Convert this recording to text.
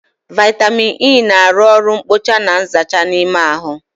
Vaitamịn E na arụ oru nkpocha na nzacha n'ime ahụ